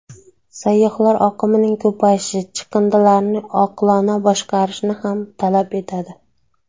Sayyohlar oqimining ko‘payishi chiqindilarni oqilona boshqarishni ham talab etadi.